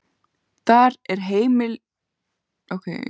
Þar er heimspólitíkin rædd á jafnréttisgrundvelli.